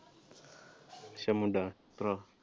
ਅੱਛਾ ਮੁੰਡਾ, ਭਰਾ।